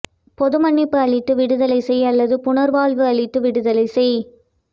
பொதுமன்னிப்பு அளித்து விடுதலை செய் அல்லது புனர்வாழ்வு அளித்து விடுதலை செய்